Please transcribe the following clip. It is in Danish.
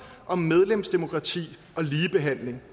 om medlemsdemokrati og ligebehandling